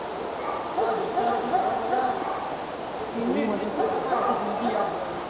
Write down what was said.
હા દોસ્તા અખિર જેવિ મજા આવે એવિ મજા કાઇ નહિ એનિ મજા આખિ જીંદગી યાદ લયે